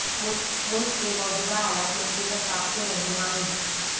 ملک کے موجودہ حالات میں سیرت پاک سے رہنمائی